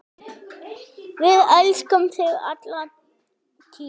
Við elskum þig alla tíð.